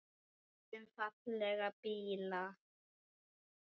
Um fallega bíla.